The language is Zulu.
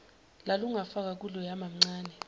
lalungafakwa kuloya mamncane